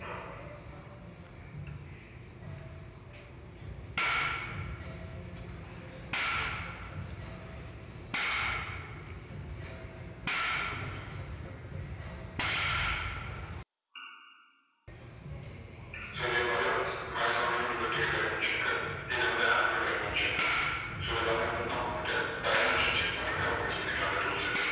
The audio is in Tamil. so இதே மாதிரி horiz~horizontal and vertical dimension க்கு இதை வந்து angular dimension so இது எல்லாமே வந்துட்டு நம்ம வந்துட்டு dimension check பண்றதுக்கு நம்ம use பண்ணிக்காலம் இந்த tools உ